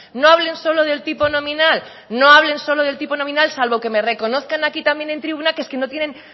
no hablen solo del tipo nominal no hablen solo del tipo nominal salvo que me reconozca aquí también en tribuna que es que no tienen